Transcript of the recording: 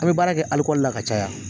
A bɛ baara kɛ la ka caya.